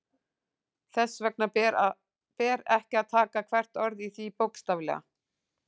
Þess vegna ber ekki að taka hvert orð í því bókstaflega.